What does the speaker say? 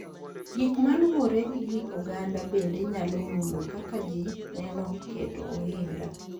Gik ma luwore gi kit oganda bende nyalo mulo kaka ji neno keto ohinga.